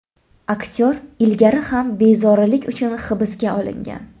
Aktyor ilgari ham bezorilik uchun hibsga olingan.